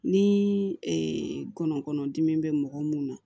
Ni ngɔnɔnkɔnɔdimi bɛ mɔgɔ mun na